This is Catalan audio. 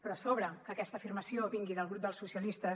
però a sobre que aquesta afirmació vingui del grup dels socialistes